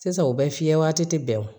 Sisan u bɛ fiyɛ waati tɛ bɛn